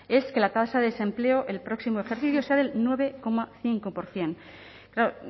es que la tasa de desempleo el próximo ejercicio sea del nueve coma cinco por ciento claro